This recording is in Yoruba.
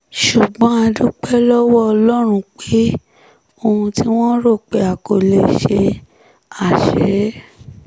ṣùgbọ́n a dúpẹ́ lọ́wọ́ ọlọ́run pé ohun tí wọ́n rò pé a kò lè ṣe á ṣe é